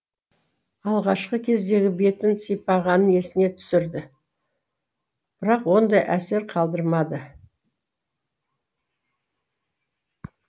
алғашқы кездегі бетін сипағанын есіне түсірді бірақ ондай әсер қалдырмады